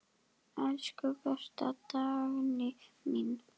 Elsku besta Dagný mín.